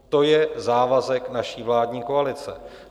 To je závazek naší vládní koalice.